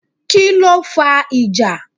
Kíló fa ìjà?